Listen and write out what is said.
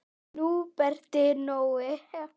Húbert Nói.